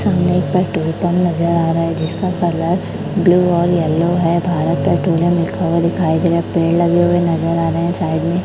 सामने एक petrol pump नजर आ रहा है जिस का कलर ब्लू और येलो है भारत पेट्रोलियम लिखा हुआ दिखाई दे रहा है पेड़ लगे नजर आ रहे हैं साइड में--